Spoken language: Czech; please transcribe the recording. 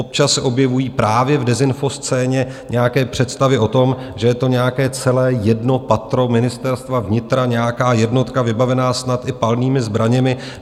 Občas se objevují právě v dezinfoscéně nějaké představy o tom, že je to nějaké celé jedno patro Ministerstva vnitra, nějaká jednotka vybavená snad i palnými zbraněmi.